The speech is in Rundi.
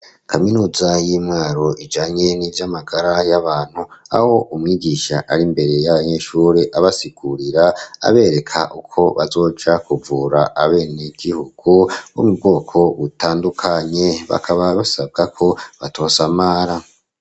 Kaminuza y'i Mwaro ijanye n'ibyamagara y'abantu aho umwigisha ari mbere y'abanyeshuri abasigurira abereka uko bazoca kuvura abene gihugu bo mu bwoko butandukanye bakaba basabwa ko batosamara.